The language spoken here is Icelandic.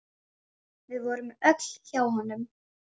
Við vorum öll hjá honum.